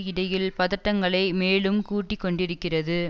இடையில் பதட்டங்களை மேலும் கூட்டி கொண்டிருக்கிறது